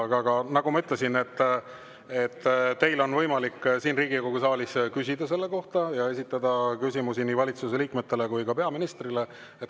Aga nagu ma ütlesin, teil on võimalik siin Riigikogu saalis küsida selle kohta, te võite esitada küsimusi nii valitsuse liikmetele kui ka peaministrile.